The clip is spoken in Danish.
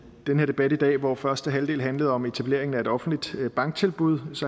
den her debat i dag og hvor første halvdel handlede om etableringen af et offentligt banktilbud